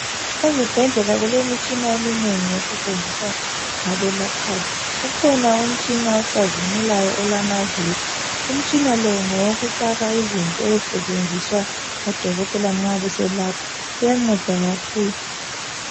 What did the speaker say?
Ezibhedlela kulemitshina eminengi esetshenziswa ngabelaphayo. Ukhona umtshina ocazimulayo olamaviri, umtshina lo ngowokufaka izinto ezisetshenziswa ngodokotela nxa beselapha. Uyanceda kakhulu.